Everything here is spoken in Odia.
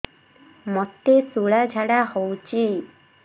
ମୋତେ ଶୂଳା ଝାଡ଼ା ହଉଚି